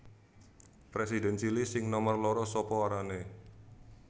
Presiden Chili sing nomer loro sapa arane